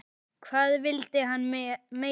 Hvað vildi hann meira?